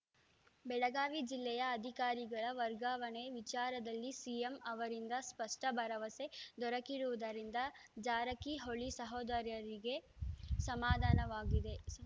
ಬೆಳಗಾವಿ ಜಿಲ್ಲೆಯ ಅಧಿಕಾರಿಗಳ ವರ್ಗಾವಣೆ ವಿಚಾರದಲ್ಲಿ ಸಿಎಂ ಅವರಿಂದ ಸ್ಪಷ್ಟಭರವಸೆ ದೊರಕಿರುವುದರಿಂದ ಜಾರಕಿಹೊಳಿ ಸಹೋದರರಿಗೆ ಸಮಾಧಾನವಾಗಿದೆ